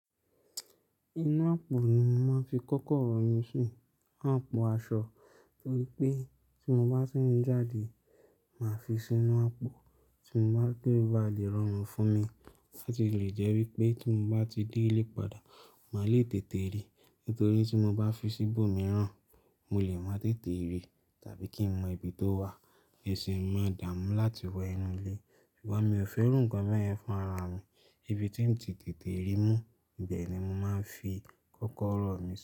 Inú àpò ni mo máa ń fi kọ́kọ́rọ́ mi si, inu àpò aṣọ. Nítorí pé tí mo bá ti n jáde, màá fi sínú àpò tí mo bá de abá lè rọrùn fún mi. Láti lè jẹ́ wípé tí mo bá ti dé ilé padà, màá le tètè ríi. Nítorí tí mo bá fi sí bó míràn, mo lè má tètè ríi tàbí kí n mọ ibi tó wà. Isi n ma dáa mú láti wọ ẹnu ilé. Ṣùgbọ́n mi ò fẹ́ iru ǹkan bẹ yẹn fún ara mi. Ibi tí n ti tètè ríi mú, ibẹ̀ ni mo máa ń fi kọ́kọ́rọ́ mi.